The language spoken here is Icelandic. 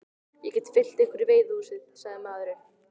Ég get fylgt ykkur í veiðihúsið, sagði maðurinn.